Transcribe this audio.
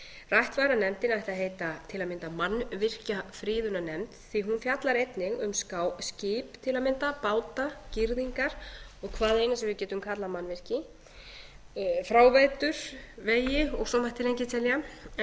rætt var að nefndin ætti að heita til að mynda mannvirkjafriðunarnefnd því að hún fjallar einnig um skip til að mynda báta girðingar og hvað eina sem við getum kallað mannvirki fráveitur vegi og svo mætti lengi telja en það er mín